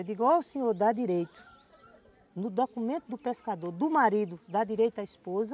Eu digo, ó, o senhor dá direito no documento do pescador, do marido, dá direito à esposa,